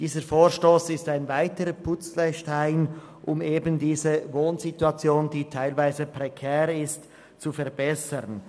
Dieser Vorstoss ist ein weiterer Puzzlestein, um eben diese prekäre Wohnsituation zu verbessern.